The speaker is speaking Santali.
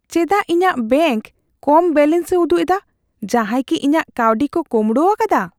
ᱪᱮᱫᱟᱜ ᱤᱧᱟᱜ ᱵᱮᱝᱠ ᱠᱚᱢ ᱵᱮᱞᱮᱱᱥᱼᱮ ᱩᱫᱩᱜ ᱮᱫᱟ ? ᱡᱟᱦᱟᱭ ᱠᱤ ᱤᱧᱟᱜ ᱠᱟᱹᱣᱰᱤ ᱠᱚ ᱠᱚᱢᱲᱚᱣᱟᱠᱟᱫᱟ ?